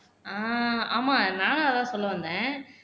ஆஹ் ஆமா நானும் அதான் சொல்ல வந்தேன்